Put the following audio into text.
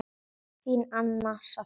Þín, Anna Soffía.